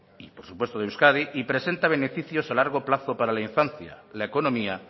y por supuesto de euskadi y presenta beneficios a largo plazo para la infancia la economía